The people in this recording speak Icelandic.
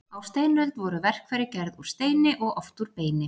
Á steinöld voru verkfæri gerð úr steini og oft úr beini.